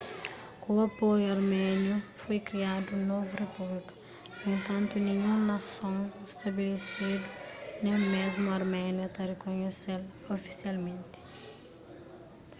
ku apoiu arméniu foi kriadu un novu repúblika nu entantu ninhun nason stabelesidu nen mésmu arménia ta rikonhese-l ofisialmenti